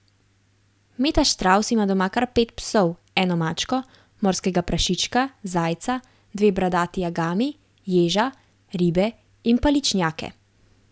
Meta Štravs ima doma kar pet psov, eno mačko, morskega prašička, zajca, dve bradati agami, ježa, ribe in paličnjake.